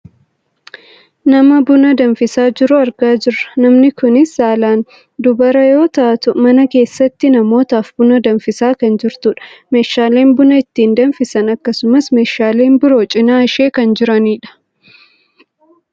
nama buna danfisaa jiru argaa jirra . Namni kunis saalaan dubara yoo taa'u mana keessatti namootaaf buna danfisaa kan jirtudha. Meeshaaleen buna ittiin danfisan akkasumas meeshaaleen biroo cinaa ishee kan jiranidha.